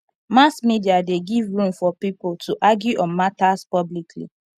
mass media de give room for pipo to argue on matters publicly